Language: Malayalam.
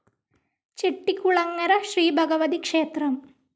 ചെട്ടിക്കുളങ്ങര ശ്രീ ഭഗവതി ക്ഷേത്രം